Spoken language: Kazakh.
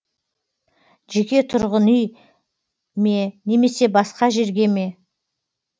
жеке тұрғын үй ме немесе басқа жерге ме